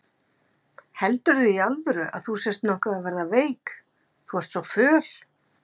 Heldurðu í alvöru að þú sért nokkuð að verða veik. þú ert svo föl?